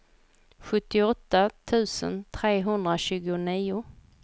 sjuttioåtta tusen trehundratjugonio